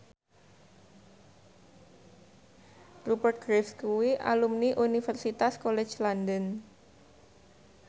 Rupert Graves kuwi alumni Universitas College London